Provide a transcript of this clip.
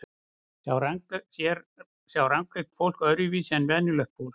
Sjá rangeygt fólk öðruvísi en venjulegt fólk?